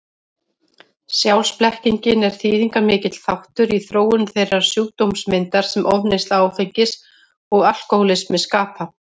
Sjálfsblekkingin er þýðingarmikill þáttur í þróun þeirrar sjúkdómsmyndar sem ofneysla áfengis og alkohólismi skapa.